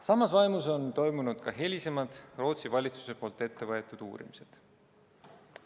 Samas vaimus on toimunud ka hilisemad Rootsi valitsuse ettevõetud uurimised.